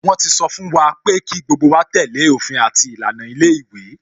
Wọn ti sọ fún wa pé kí gbogbo wa tẹ́lẹ̀ òfin àti ìlànà ilé ìwé